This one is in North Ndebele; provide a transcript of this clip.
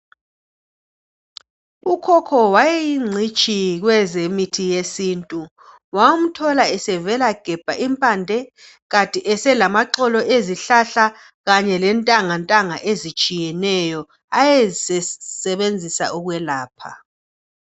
Ukhokho wayeyingcitshi kwezemithi yesintu. Wawumthola esevelagebha impande, kanti eselamaxolo ezihlahla kanye lentangantanga ezitshiyeneyo ayezisebenzisa ukwelapha.